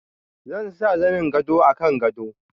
Zan sa zanin gado a kan gado.